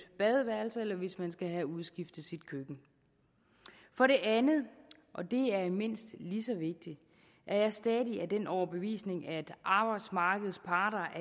badeværelse eller hvis man skal have udskiftet sit køkken for det andet og det er mindst lige så vigtigt er jeg stadig af den overbevisning at arbejdsmarkedets parter